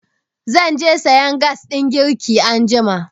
Zan je sayan gas ɗin girki anjima.